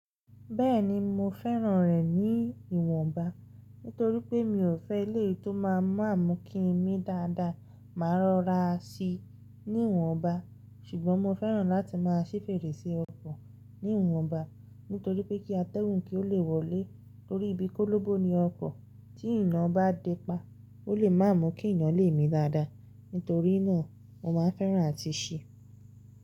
Bẹ́ẹ̀ni mo fẹ́ràn rẹ̀ ní ìwọ̀nba, nítorí pé mi ò fẹ́ eleyii tó máa ń mamú kí n ní dáadáa. Màá rọra síi ní ìwọ̀nba, ṣùgbọ́n mo fẹ́ràn láti máa ṣí fèrèsé ọkọ̀ ní ìwọ̀nba, nítorí pé kí atẹ́gun kí ó lè wọlé torí bí kólóbo ni ọkọ̀ tí eeyan bá dé pa, ó lè má mú kí eeyan le mi dáadáa. Nítorí náà mo máa ń fẹ́ràn àti ṣi.